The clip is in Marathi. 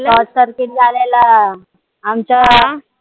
short serket झालेला. आमच्या